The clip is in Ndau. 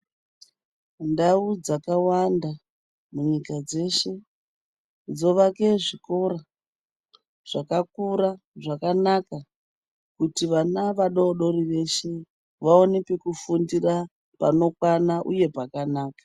Ndawu dzakawanda, munyika dzeshe dzevake zvikora zvakakura zvakanaka, kuti vana vadodori veshe vawane pekufundira panokwana uye pakanaka.